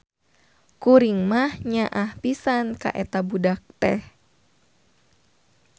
Kuring mah nyaahh pisan ka eta budak teh.